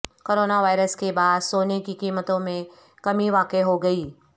corona virus کے باعث سونے کی قیمتوں میں کمی واقع ہو گئی